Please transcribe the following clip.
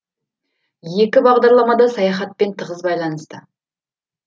екі бағдарламада саяхатпен тығыз байланысты